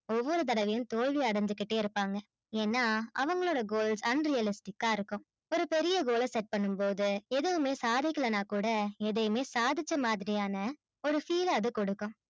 ஒவ்வொரு தடவையும் தோல்வி அடஞ்சிகிட்டே இருப்பாங்க ஏன்னா அவங்களோட goals unhealthy ஆ இருக்கும் ஒரு பெரிய goal ஆ பண்ணும் போது எதுவுமே சாதிக்கலனா கூட எதையுமே சாதிச்ச மாதிரியான ஒரு feel ஆவது கொடுக்கும்